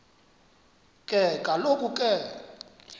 ke kaloku ke